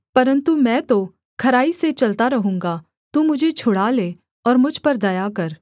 परन्तु मैं तो खराई से चलता रहूँगा तू मुझे छुड़ा ले और मुझ पर दया कर